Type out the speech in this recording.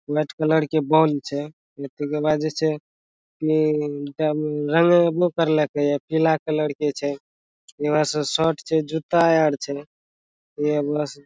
White colour के ball छै | ऐकतो की आवाज अछे इ रंगेबो करल के ये पीला कलर के छै इमे शर्ट छे जूता आर छै । इ ये बस |